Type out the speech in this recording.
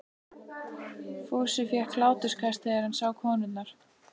Fúsi fékk hláturskast þegar hann sá konurnar.